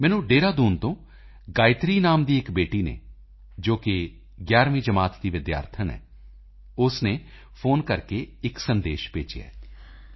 ਮੈਨੂੰ ਦੇਹਰਾਦੂਨ ਤੋਂ ਗਾਇਤਰੀ ਨਾਮ ਦੀ ਇਕ ਬੇਟੀ ਨੇ ਜੋ ਕਿ 11ਵੀਂ ਦੀ ਵਿਦਿਆਰਥਣ ਹੈ ਉਸ ਨੇ ਫੋਨ ਕਰਕੇ ਇਕ ਸੰਦੇਸ਼ ਭੇਜਿਆ ਹੈ